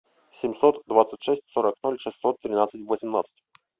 семьсот двадцать шесть сорок ноль шестьсот тринадцать восемнадцать